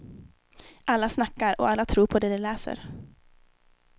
Alla snackar, och alla tror på det de läser.